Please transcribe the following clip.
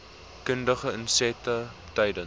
kundige insette tydens